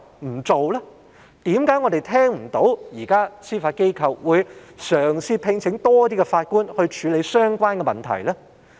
為何我們現時聽不到司法機構嘗試聘請更多法官處理相關的問題呢？